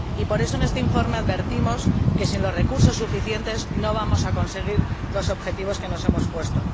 Por eso, en este informe advertimos de que sin los recursos suficientes no vamos a conseguir los objetivos que nos hemos puesto.